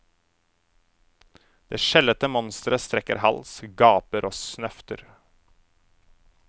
Det skjellete monsteret strekker hals, gaper og snøfter.